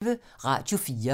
Radio 4